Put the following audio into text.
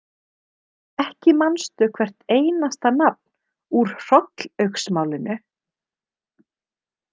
Ekki manstu hvert einasta nafn úr Hrollaugsmálinu?